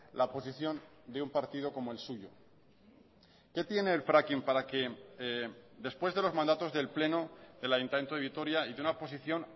la posición de un partido como el suyo qué tiene el fracking para que después de los mandatos del pleno del ayuntamiento de vitoria y de una posición